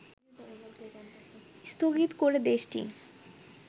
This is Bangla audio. স্থগিত করে দেশটি